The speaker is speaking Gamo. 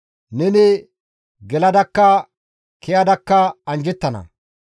Neni geladakka kezadakka anjjettana.